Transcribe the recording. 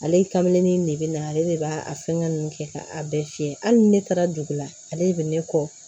Ale kaminni nin de bɛ na ale de b'a a fɛngɛn ninnu kɛ ka a bɛɛ fiyɛ hali ni ne taara dugu la ale de bɛ ne kɔ